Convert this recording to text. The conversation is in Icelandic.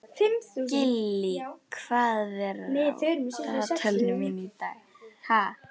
Gillý, hvað er á dagatalinu mínu í dag?